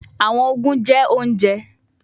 Awọn oogun jẹ ounjẹ